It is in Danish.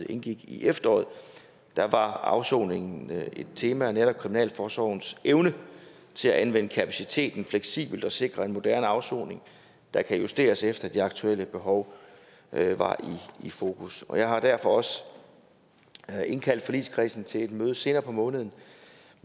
indgik i efteråret var afsoningen et tema netop kriminalforsorgens evne til at anvende kapaciteten fleksibelt og sikre en moderne afsoning der kan justeres efter det aktuelle behov var i fokus og jeg har derfor også indkaldt forligskredsen til et møde senere på måneden